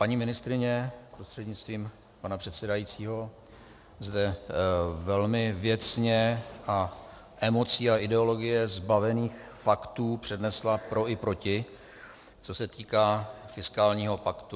Paní ministryně prostřednictvím pana předsedajícího zde velmi věcně a emocí a ideologie zbavených faktů přednesla pro i proti, co se týká fiskálního paktu.